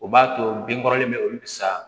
O b'a to bin kɔrɔlen bɛ olu sa